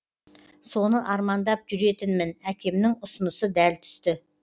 соны армандап жүретінмін әкемнің ұсынысы дәл түсті